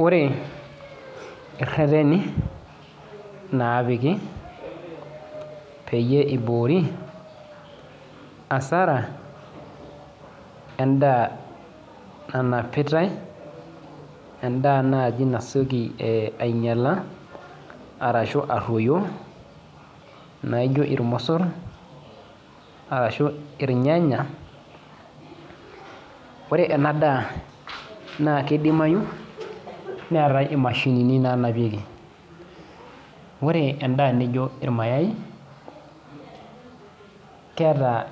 Ore ereteni napiki peyie iboori asara endaa nanapitau endaa nai nasieki ainyala ashu aroyo naijo irmosor ashu irnyanya ore enadaa na kidimayu neetae imashinini nanapieki ore endaa nijo irmayai keeta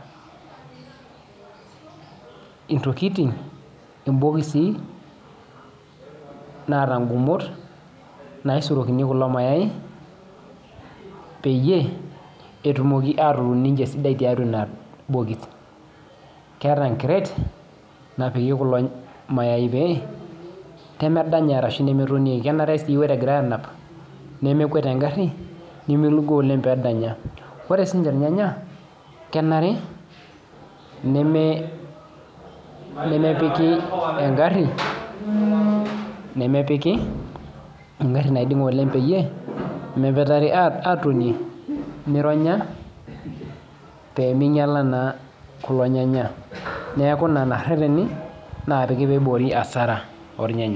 intokitin naata nkumot naisurokini irmayai peyie etumoki ataa sidan torbokis keeta enkret napiki kulo mayai pee pemedanya ashu na kenare ore egirai anap nemekemwet engari nimilugo oleng pejnyala ore sinye irnyanya kenare nemepiki engari nemepiki engari naidinga oleng pemepetari ,pemeironya kulo nyannya neaku lolo reteni opiki piboyo asara ornyanya.